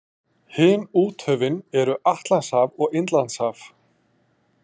Hin úthöfin eru Atlantshaf og Indlandshaf.